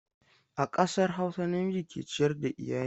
A ƙasar Hausa, namiji ke ciyar da iyali.